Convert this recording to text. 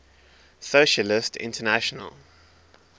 socialist international